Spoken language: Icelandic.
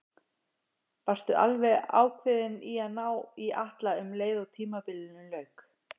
Varstu alveg ákveðinn í að ná í Atla um leið og tímabilinu lauk?